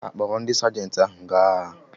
Ha kpọrọ ndị sajenti ahụ gaa agha?